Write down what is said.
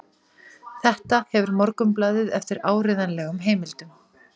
Þetta hefur Morgunblaðið eftir áreiðanlegum heimildum